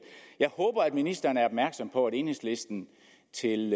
jeg håber at ministeren er opmærksom på at enhedslisten til